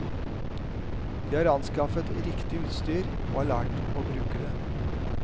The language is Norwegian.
De har anskaffet riktig utstyr og har lært å bruke det.